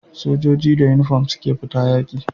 Sojoji da inufom suke fita yaki